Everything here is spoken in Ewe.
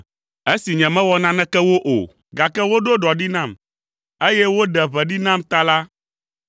Esi nyemewɔ naneke wo o, gake woɖo ɖɔ ɖi nam, eye woɖe ʋe ɖi nam ta la,